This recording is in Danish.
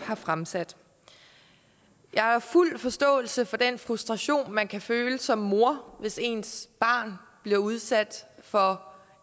har fremsat jeg har fuld forståelse for den frustration man kan føle som mor hvis ens barn bliver udsat for